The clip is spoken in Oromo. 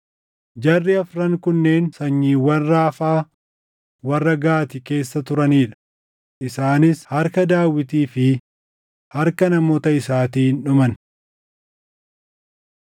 Jarri afran kunneen sanyiiwwan Raafaa warra Gaati keessa turanii dha. Isaanis harka Daawitii fi harka namoota isaatiin dhuman.